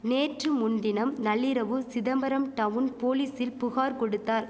நேற்று முன்தினம் நள்ளிரவு சிதம்பரம் டவுன் போலீசில் புகார் கொடுத்தார்